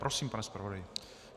Prosím, pane zpravodaji.